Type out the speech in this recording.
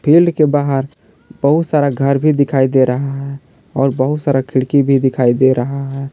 Field के बाहर बहुत सारा घर भी दिखाई दे रहा है और बहुत सारा खिड़की भी दिखाई दे रहा है।